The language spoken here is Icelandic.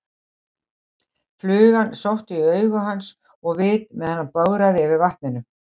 Flugan sótti í augu hans og vit á meðan hann bograði yfir vatninu.